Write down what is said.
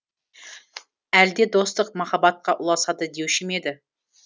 әлде достық махаббатқа ұласады деуші ме еді